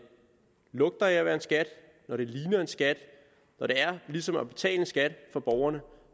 lugter af at være en skat når det ligner en skat når det er ligesom at betale skat for borgerne